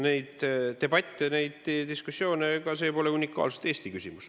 Need debatid, need diskussioonid – ega see pole unikaalselt Eesti küsimus.